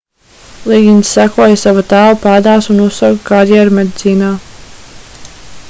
ligins sekoja sava tēva pēdās un uzsāka karjeru medicīnā